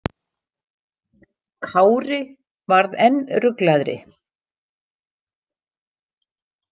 Kári varð enn ruglaðri.